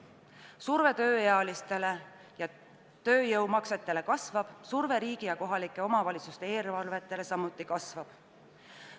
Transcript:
Surve tööealistele ja tööjõumaksetele kasvab, surve riigi ja kohalike omavalitsuste eelarvetele samuti kasvab.